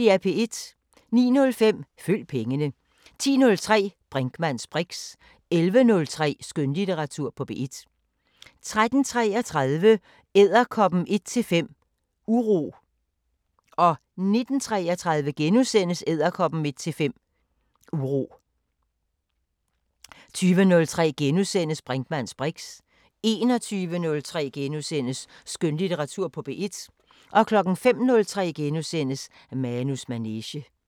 09:05: Følg pengene 10:03: Brinkmanns briks 11:03: Skønlitteratur på P1 13:33: Edderkoppehøgen 1:5 – Uro 19:33: Edderkoppehøgen 1:5 – Uro * 20:03: Brinkmanns briks * 21:03: Skønlitteratur på P1 * 05:03: Manus manege *